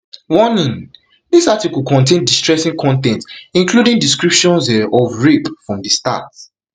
warning dis article contain distressing con ten t including descriptions um of rape from di start